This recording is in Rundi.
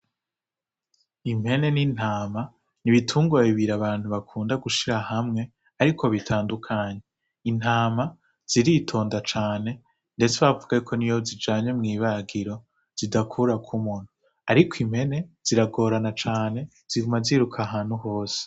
Impene n'intama n'ibitungwa bibiri abantu bakunda gushira hamwe ariko bitandukanye, Intama ziritonda cane ndetse bavuga yuko niyo bazijanye mw'ibagiro zidakurako umunwa ariko impene ziragorana cane ziguma ziruka ahantu hose